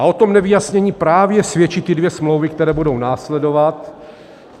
A o tom nevyjasnění právě svědčí ty dvě smlouvy, které budou následovat.